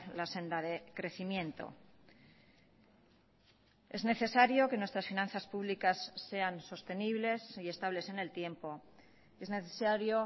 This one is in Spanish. la senda de crecimiento es necesario que nuestras finanzas públicas sean sostenibles y estables en el tiempo es necesario